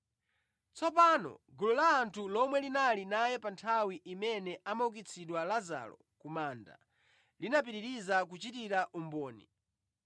Tsopano gulu la anthu lomwe linali naye pa nthawi imene amaukitsidwa Lazaro ku manda linapitiriza kuchitira umboni.